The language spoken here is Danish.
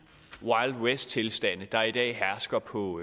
wild west tilstande der i dag hersker på